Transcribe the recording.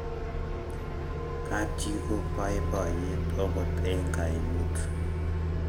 kap chii ko baibaiet akot eng' kaimut